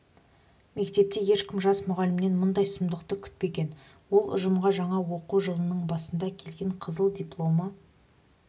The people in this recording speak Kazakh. мектепте ешкім жас мұғалімнен мұндай сұмдықты күтпеген ол ұжымға жаңа оқу жылының басында келген қызыл дипломы